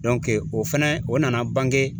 o fɛnɛ o nana bange